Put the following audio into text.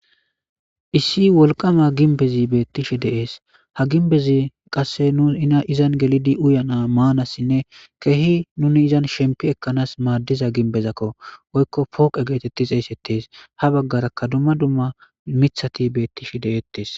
Issi wolqama gimbez betishe de'es. Ha gimbez qase nun izan gelid uyana, manasinne keeh nun izan shempi Ekans madiza gimbezako woko pooqe getet xeysetes.ha bagaraka dumma dumma mithat betishe de'etes.